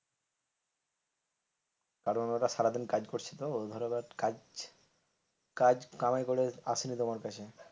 কারণওরা সারাদিন কাজ করছে তো ধরো আবার কাজ কাজ কামাই করে আসে নি তোমার কাছে।